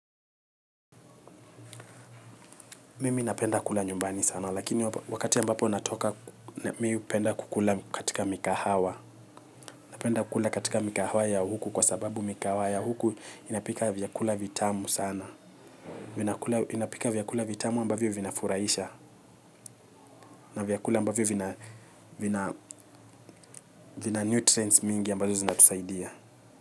Mimi napenda kula nyumbani sana lakini wakati ambapo natoka mimi hupenda kukula katika migahawa napenda kukula katika migahawa ya huku kwa sababu migahawa ya huku inapika vyakula vitamu sana inapika vyakula vitamu ambavyo vinafurahisha na vyakula ambavyo vina nutrients mingi ambazo zinatusaidia.